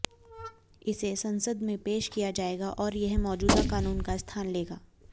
इसे संसद में पेश किया जाएगा और यह मौजूदा कानून का स्थान लेगा